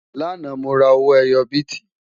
lànà, mó rà owó ẹyọ biti